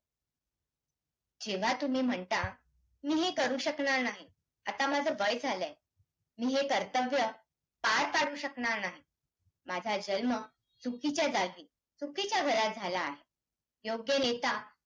जेव्हा तुम्ही म्हणता, मी हे करू शकणार नाही, आता माझं वय झालं आहे, मी हे कर्तव्य पार पाडू शकणार नाही, माझा जन्म चुकीच्या जागी, चुकीच्या घरात झाला आहे, योग्य नेता